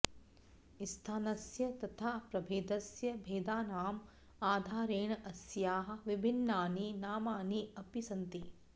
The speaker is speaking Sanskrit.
स्थानस्य तथा प्रभेदस्य भेदानाम् आधारेण अस्याः विभिन्नानि नामानि अपि सन्ति